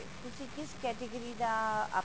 ਕਿਸ category ਦਾ